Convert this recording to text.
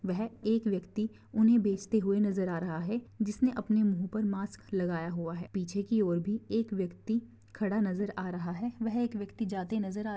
वह एक व्यक्ति उन्हे बेचते हुए नजर आ रहा है जिसने अपने मुँह पर मास्क लगाया हुआ है पीछे की ओर भी एक व्यक्ति खड़ा नजर आ रहा है वह एक व्यक्ति जाते नजर आ--